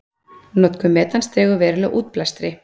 Notkun metans dregur verulega úr útblæstri.